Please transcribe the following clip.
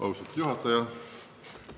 Austatud juhataja!